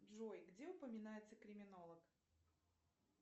джой где упоминается криминолог